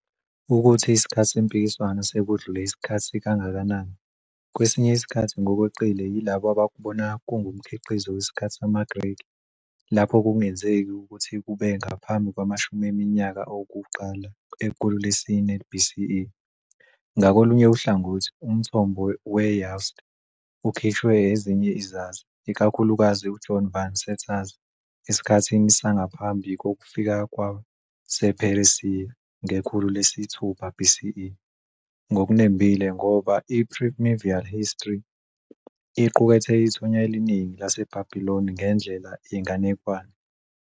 Ukuthi isikhathi sempikiswano sekudlule isikhathi kangakanani, kwesinye isikhathi ngokweqile yilabo abakubona kungumkhiqizo wesikhathi samaGreki, lapho kungenzeki ukuthi kube ngaphambi kwamashumi eminyaka okuqala ekhulu lesi-4 BCE, ngakolunye uhlangothi umthombo weYahwist ukhishwe ezinye izazi, ikakhulukazi uJohn Van Seters, esikhathini sangaphambi kokufika kwasePheresiya, ngekhulu lesi-6 BCE, ngokunembile ngoba iPrimeval History iqukethe ithonya eliningi laseBabiloni ngendlela yenganekwane.